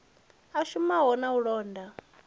a shumaho na u londa